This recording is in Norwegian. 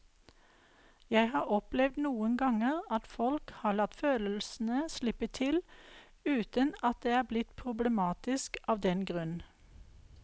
Jeg har opplevd noen ganger at folk har latt følelsene slippe til uten at det er blitt problematisk av den grunn.